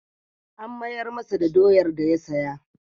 An mayar masa da doyar da ya saya.